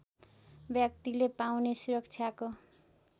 व्यक्तिले पाउने सुरक्षाको